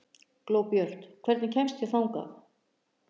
Glóbjört, hvernig kemst ég þangað?